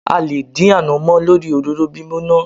A lè dín ànàmọ́ lórí òróró gbígbóná.